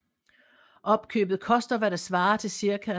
Opkøbet koster hvad der svarer til ca